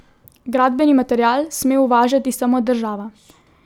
Gradbeni material sme uvažati samo država.